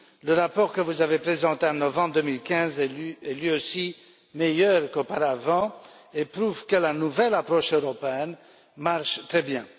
Le rapport que vous avez présenté en novembre 2015 est, lui aussi, meilleur qu'auparavant, et prouve que la nouvelle approche européenne marche très bien.